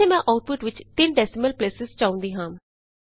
ਇਥੇ ਮੈਂ ਆਉਟਪੁਟ ਵਿਚ 3 ਡੈਸੀਮਲ ਪਲੇਸਿਸ ਚਾਹੁੰਦੀ ਹਾਂ